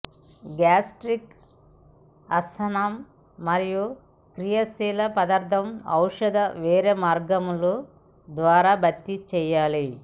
gastric అసహనం మరియు క్రియాశీల పదార్ధం ఔషధ వేరే మార్గముల ద్వారా భర్తీ చేయాలి